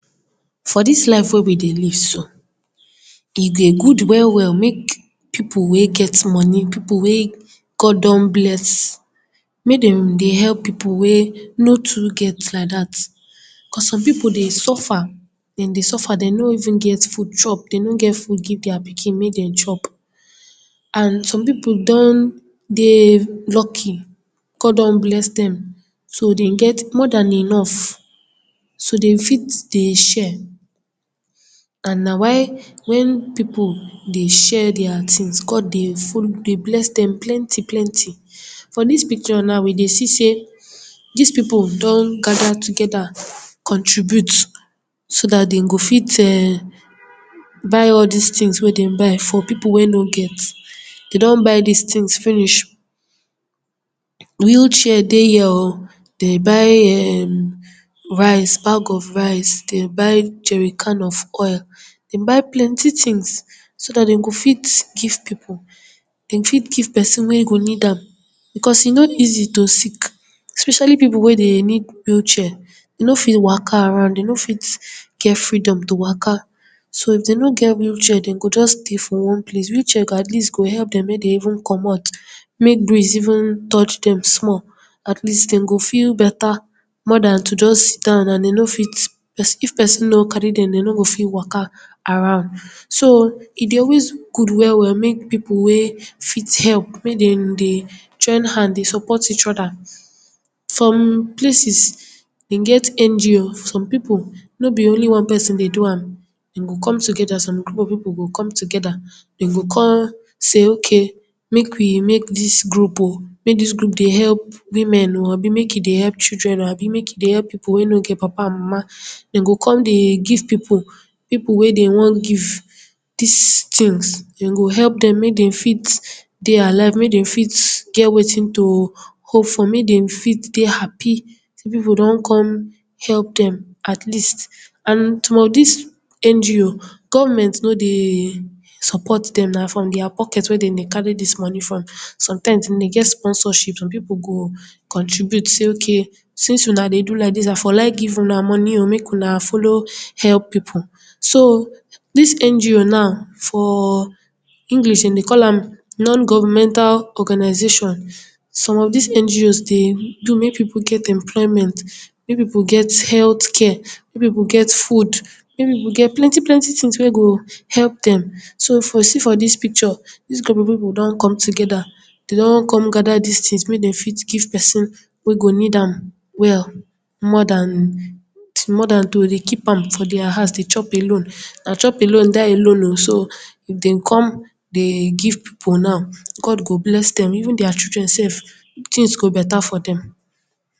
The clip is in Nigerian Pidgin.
For dis life wey we dey live so, e dey good well well mek pipu wey get money, pipu wey God don bless, mey dem dey help pipu wey no too get like dat, cos some pipu dey suffer, den dey suffer, den no even get food chop, den no get food give dia pikin mek den chop. And some pipu don dey lucky, God don bless dem, so den get more dan enough, so den fit dey share and na why, when pipu dey share dia tins, God dey follow, dey bless den plenty plenty. For dis picture na, we dey see sey dis pipu don gada togeda, contribute, so dat den go fit um, buy all dis tins wey den buy for pipo wey no get. Den don buy dis tins finish, wheelchair dey here o, den buy um, rice, bag of rice, den buy jerrican of oil, den buy plenty tins, so dat den go fit give pipu, den fit give person wey go need am, because e no easy to sick, especially pipo wey dey need wheelchair, den no fit waka around, den no fit get freedom to waka, so, if den no get wheelchair, den go just dey for one place. Wheelchair, go at least go help dem mek dem even comot, mek breeze even touch dem small, at least den go feel beta, more dan to just sit down and den no fit, person, if person no carry dem, den no go fit waka around. So, e dey always good well well mek pipu wey fit help, mey den dey join hand dey support each oda. Some places, den get NGO, some pipu, no be only one person dey do am, den go come togeda, some group of pipu go come togeda, den go kon say, ok, mek we make dis group o, mek dis group dey help men o, abi mek e dey help children o, abi mek e dey help pipu wey no get papa and mama. Den go kon dey give pipu, pipu wey den wan give dis tins, den go help dem, mey den fit dey alive, mey den fit get wetin to hope for, mey den fit dey happy sey pipu don kon help dem at least. And some of dis NGO, government no dey support dem, na from dia pocket wey dem dey carry dis money from, sometimes den dey get sponsorship, some pipu go contribute sey, ok, since una dey do laidis, I for like give una money o, mek una follow help pipu. So, dis NGO now, for English, den dey call am Non-Governmental Organisation. Some of dis NGOs dey do mey pipu get employment, mey pipu get healt care, mey pipu get food, mey pipu get plenty plenty tins wey go help dem. So, for see for dis picture, dis group of pipu don come togeda, den don come gada dis tins mey den fit give person wey go need am well, more dan, more dan to dey keep am for dia house dey chop alone. Na chop alone, die alone o, so, if den come dey give pipu now, God go bless dem, even dia children sef, tins go beta for dem.